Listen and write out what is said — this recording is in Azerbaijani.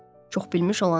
Çoxbilmiş olanı dedi.